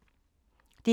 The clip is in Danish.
DR2